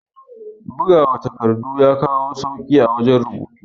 Bugawa takardu ya kawo sauke a wajan rubutu